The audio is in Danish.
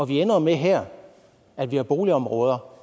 vi ender jo med her at vi har boligområder